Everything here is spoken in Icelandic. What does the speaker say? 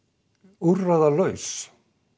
úrræðalaus